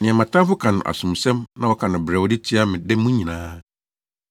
nea mʼatamfo ka no asomsɛm na wɔka no brɛoo de tia me da mu nyinaa.